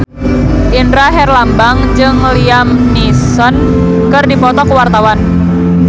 Indra Herlambang jeung Liam Neeson keur dipoto ku wartawan